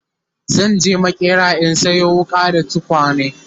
zanje maƙera in Sayo wuƙa da tukwane